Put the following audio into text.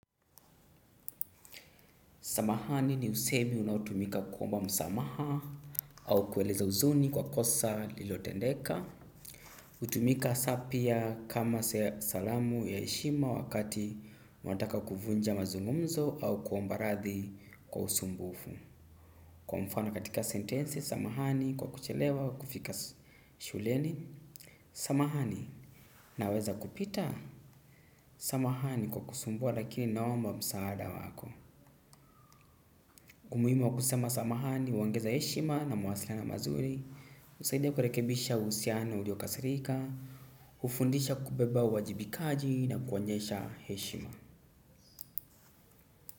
Samahani ni usemi unaotumika kuomba msamaha au kueleza huzuni kwa kosa lililotendeka. Hutumika saa pia kama salamu ya heshima wakati unataka kuvunja mazungumzo au kuomba radhi kwa usumbufu. Kwa mfano katika sentensi, samahani kwa kuchelewa kufika shuleni. Samahani naweza kupita? Samahani kwa kusumbua lakini naomba msaada wako. Umuhimu wa kusema samahani, huongeza heshima na mawasiliano mazuri, husaidia kurekebisha uhusiano uliokasirika, hufundisha kubeba uwajibikaji na kuonyesha heshima.